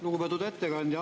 Lugupeetud ettekandja!